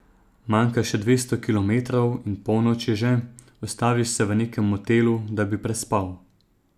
Manjka še dvesto kilometrov in polnoč je že, ustaviš se v nekem motelu, da bi prespal.